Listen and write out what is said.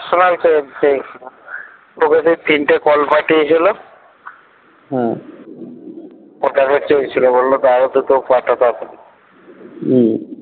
personal চেয়ে চেয়েছিলো তোকে যে তিনটে call পাঠিয়েছিল হম ওটাতে চেয়েছিলো বললো দাও দুটো পাঠাও তাড়াতাড়ি উম